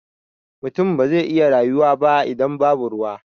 Mutum ba zai iya rayuwa ba idan babu ruwa.